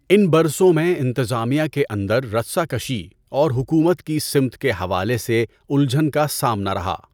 ان برسوں میں انتظامیہ کے اندر رسّہ کشی اور حکومت کی سمت کے حوالے سے الجھن کا سامنا رہا۔